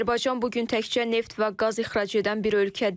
Azərbaycan bu gün təkcə neft və qaz ixrac edən bir ölkə deyil.